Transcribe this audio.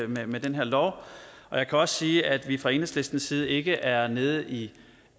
med den her lov og jeg kan også sige at vi fra enhedslistens side ikke er nede i